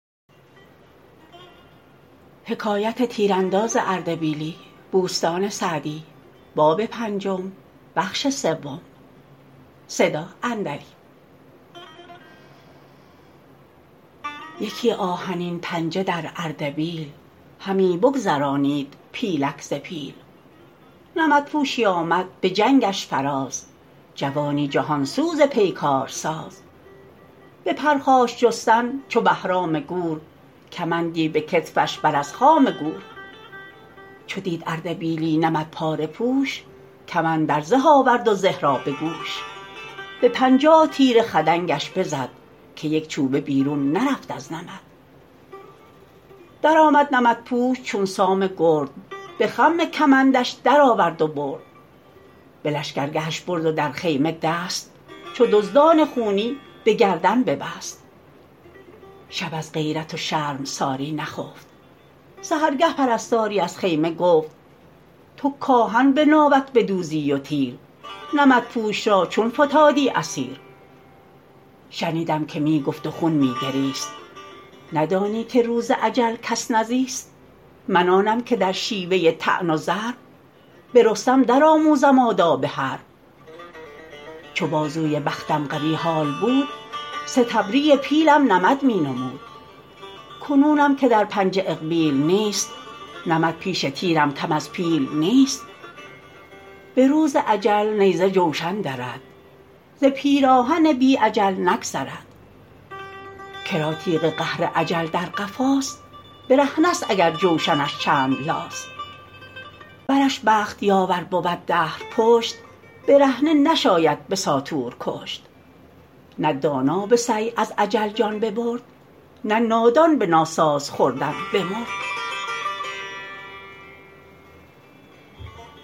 یکی آهنین پنجه در اردبیل همی بگذرانید پیلک ز پیل نمد پوشی آمد به جنگش فراز جوانی جهان سوز پیکار ساز به پرخاش جستن چو بهرام گور کمندی به کتفش بر از خام گور چو دید اردبیلی نمد پاره پوش کمان در زه آورد و زه را به گوش به پنجاه تیر خدنگش بزد که یک چوبه بیرون نرفت از نمد درآمد نمدپوش چون سام گرد به خم کمندش درآورد و برد به لشکرگهش برد و در خیمه دست چو دزدان خونی به گردن ببست شب از غیرت و شرمساری نخفت سحرگه پرستاری از خیمه گفت تو کآهن به ناوک بدوزی و تیر نمدپوش را چون فتادی اسیر شنیدم که می گفت و خون می گریست ندانی که روز اجل کس نزیست من آنم که در شیوه طعن و ضرب به رستم در آموزم آداب حرب چو بازوی بختم قوی حال بود ستبری پیلم نمد می نمود کنونم که در پنجه اقبیل نیست نمد پیش تیرم کم از پیل نیست به روز اجل نیزه جوشن درد ز پیراهن بی اجل نگذرد کرا تیغ قهر اجل در قفاست برهنه ست اگر جوشنش چند لاست ورش بخت یاور بود دهر پشت برهنه نشاید به ساطور کشت نه دانا به سعی از اجل جان ببرد نه نادان به ناساز خوردن بمرد